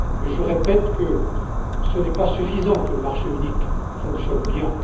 Je répète qu'il n'est pas suffisant que le marché unique fonctionne bien.